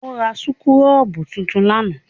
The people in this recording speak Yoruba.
O rà súkúrọ́bù tuntun lánàá?